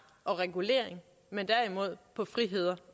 og regulering men derimod på friheder